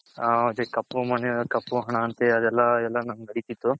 ಹ ಅದೆ ಕಪ್ಪು money ಕಪ್ಪು ಹಣ ಅಂತ ಅದೆಲ್ಲ ನಮ್ಗೆ